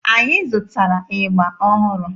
Anyị zụtara ịgba ọhụrụ.